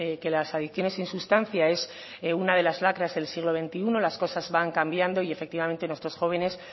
que las adicciones sin sustancia es una de las lacras del siglo veintiuno las cosas van cambiando y efectivamente nuestros jóvenes